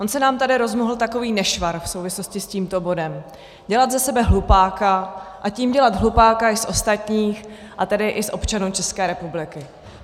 On se nám tady rozmohl takový nešvar v souvislosti s tímto bodem - dělat ze sebe hlupáka, a tím dělat hlupáka i z ostatních, a tedy i z občanů České republiky.